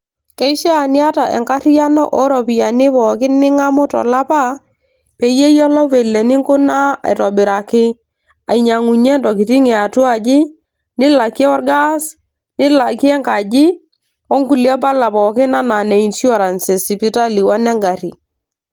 keishaa niata enkarriyiano ooropiyiani pookin ning'amu tolapa peyie iyiolou vile eninkunaa aitobiraki ainyiangunyie intokitin e atuaji nilakie orgas nilakie enkaji onkulie pala pookin enaa ne insurance esipitali onengarri.